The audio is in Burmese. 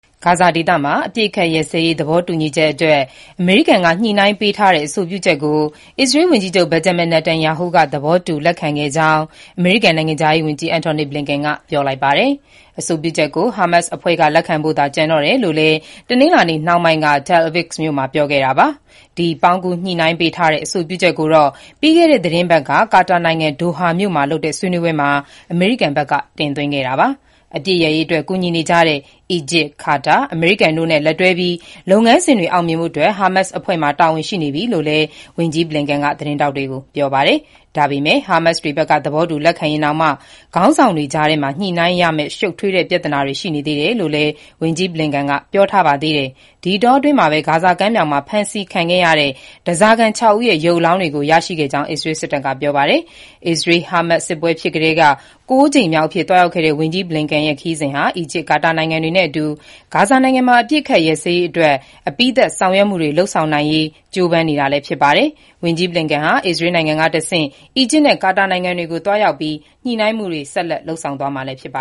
ဂါဇာဒေသ အပစ်ရပ်စဲရေး သဘောတူညီချက်အတွက် အမေရိကန်က ညှိနှိုင်းပေးထားတဲ့အဆိုပြုချက်ကို အစ္စရေးဝန်ကြီးချုပ် Benjamin Netanyahu က သဘောတူ လက်ခံခဲ့ကြောင်း အမေရိကန် နိုင်ငံခြားရေးဝန်ကြီး Antony Blinken ကပြောလိုက်ပါတယ်။ အဆိုပြုချက်ကို ဟားမတ်စ်အဖွဲ့က လက်ခံဖို့ပဲ ကျန်တယ်လို့လည်း တနင်္လာနေ့နှောင်းပိုင်းက Tel Aviv မြို့မှာ ဝန်ကြီး Blinken ကပြောပါတယ်။ ပေါင်းကူးညှိနှိုင်းပေးထားတဲ့ အဆိုပြုချက်ကိုတော့ ပြီးခဲ့တဲ့ သီတင်းပတ်က ကာတာနိုင်ငံ ဒိုဟာမြို့မှာလုပ်တဲ့ ဆွေးနွေးပွဲမှာ အမေရိကန်ဘက်က တင်သွင်းခဲ့တာပါ။ အပစ်ရပ်ရေး ကူညီနေကြတဲ့ အီဂျစ်၊ ကာတာ၊ အမေရိကန်တို့နဲ့ လက်တွဲပြီး လုပ်ငန်းစဉ်တွေ အောင်မြင်ဖို့အတွက် ဟာမတ်စ်အဖွဲ့မှာ တာဝန်ရှိနေပြီလို့လည်း ဝန်ကြီး Blinken က ပြောပါတယ်။ ဟာမတ်စ်တွေဘက်က သဘောတူ လက်ခံရင်တောင်မှ ခေါင်းဆောင်တွေကြားထဲမှာ ညှိနှိုင်းရမယ့် ရှုပ်ထွေးတဲ့ပြဿနာတွေ ရှိနေသေးတယ်လို့လည်း ဝန်ကြီး Blinken က ပြောပါတယ်။ ဒီအတောအတွင်းမှာပဲ ဂါဇာကမ်းမြောင်မှာ ဖမ်းဆီးခံခဲ့ရတဲ့ ဓားစာခံ ၆ ဦးရဲ့ ရုပ်အလောင်းတွေကို ရရှိခဲ့ကြောင်း အစ္စရေး စစ်တပ်က ပြောပါတယ်။ အစ္စရေး-ဟာမတ်စ်စစ်ပွဲ စကတည်းက ၉ ကြိမ်မြောက်အဖြစ်သွားရောက်တဲ့ ဝန်ကြီး Blinken ရဲ့ ခရီးစဉ်ဟာ အီဂျစ်၊ ကာတာနိုင်ငံတွေနဲ့အတူ ဂါဇာမှာ အပစ်ရပ်စဲရေး အပြီးသတ် ဆောင်ရွက်မှုတွေ လုပ်ဆောင်နိုင်ဖို့ ကြိုးပမ်းနေချိန်လည်း ဖြစ်ပါတယ်။ ဝန်ကြီး Blinken ဟာ အစ္စရေးနိုင်ငံကတဆင့် အီဂျစ်နဲ့ ကာတာနိုင်ငံတွေကိုသွားရောက်ပြီး ညှိနှိုင်းမှုတွေ ဆက်လက်လုပ်ဆောင်မှာဖြစ်ပါ